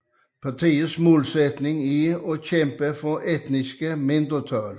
Partiets målsætning er at kæmpe for etniske mindretal